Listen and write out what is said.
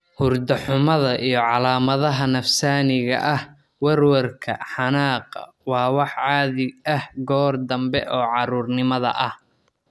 Hurdo xumada iyo calaamadaha nafsaaniga ah (werwerka, xanaaqa) waa wax caadi ah goor dambe oo carruurnimada ah.